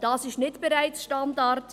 Das ist nicht bereits Standard.